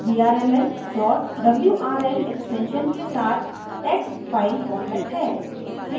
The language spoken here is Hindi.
vrml wrl extension के साथ text file format है